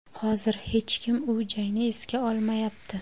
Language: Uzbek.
Hozir hech kim u jangni esga olmayapti.